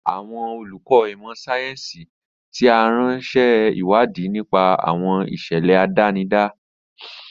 Àwọn olùkọ́ ìmọ̀ sáyẹ́sì ti ara ń ṣe ìwádìí nípa àwọn ìṣẹ̀lẹ̀ àdánidá.